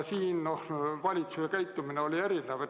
Valitsuse käitumine oli siin erinev.